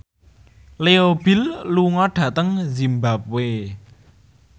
Leo Bill lunga dhateng zimbabwe